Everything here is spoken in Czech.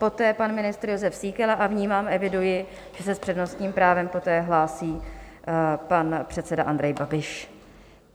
Poté pan ministr Jozef Síkela a vnímám, eviduji, že se s přednostním právem poté hlásí pan předseda Andrej Babiš.